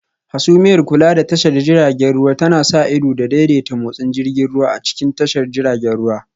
Hasumiyar Kula da tashar jiragen ruwa tana sa ido da daidaita motsin jirgin ruwa a cikin tashar jiragen ruwa